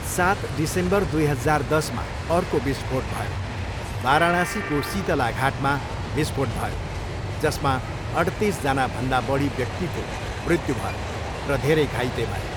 सात डिसेम्बर दुई हजार दसमा अर्को विस्फोट भयो, वाराणसीको सितला घाटमा विस्फोट भयो, जसमा अठ्तिस जनाभन्दा बढी व्यक्तिको मृत्यु भयो र धेरै घाइते भए।